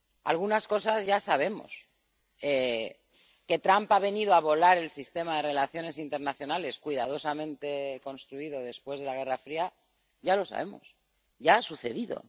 Algunas cosas ya sabemos que Trump ha venido a volar el sistema de relaciones internacionales, cuidadosamente construido después de la Guerra Fría, ya lo sabemos, ya ha sucedido